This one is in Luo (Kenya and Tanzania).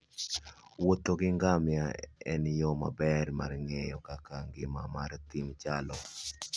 wuotho gi ngamia en yo maber mar ng'eyo kaka ngima mar thim chalo.